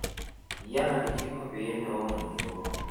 iyie enarikini pee intoomom iyiook